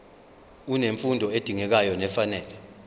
unemfundo edingekayo nefanele